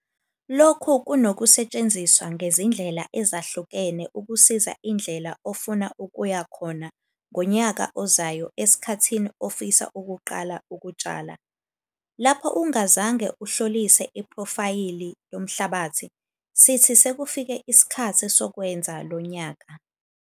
Lokhu kunasetsthenziswa ngezindlela ezahlukene ukusiza indlela ufuna ukuya khona ngonyaka ozayo esikhthi ufisa ukuqala ukustshala. Lapho ungazange uhlolise iphrofayili lomhlambathi, sithi sekufike isikhathi sokwenza lo nyaka.